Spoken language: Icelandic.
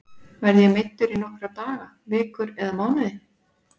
Verð ég meiddur í nokkra daga, vikur eða mánuði?